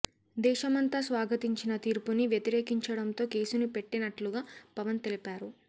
దేశమంతా స్వాగతించిన తీర్పుని వ్యతిరేకించడం తో కేసుని పెట్టినట్లుగా పవన్ తెలిపారు